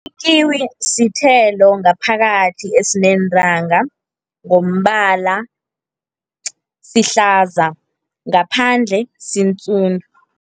Ikiwi sithelo ngaphakathi esineentanga, ngombala sihlaza, ngaphandle sindzundu.